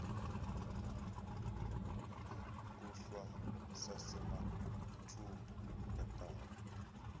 kuhlwa sasimathumbu entaka